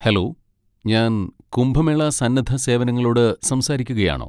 Hello, ഞാൻ കുംഭമേള സന്നദ്ധ സേവനങ്ങളോട് സംസാരിക്കുകയാണോ?